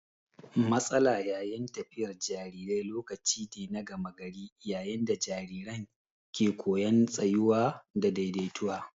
Matsala yayin tafiyar jarirai lokaci ne na gama gari yayin da jariran ke koyan tsayuwa da daidaituwa.